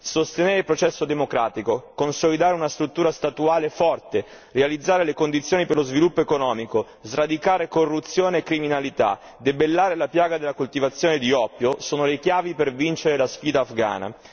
Sostenere il processo democratico, consolidare una struttura statuale forte, realizzare le condizioni per lo sviluppo economico, sradicare corruzione e criminalità, debellare la piaga della coltivazione di oppio, sono le chiavi per vincere la sfida afghana.